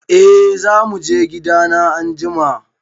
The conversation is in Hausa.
E, za mu je gidana anjima.